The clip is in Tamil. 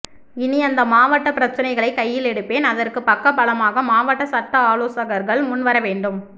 இனி அந்த மாவட்ட பிரச்சனைகளை கையில் எடுப்பேன் அதற்க்கு பக்கபலமாக மாவட்ட சட்ட ஆலோசர்கள் முன் வரவேண்டும்